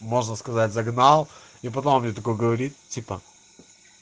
можно сказать загнал и потом мне такой говорит типа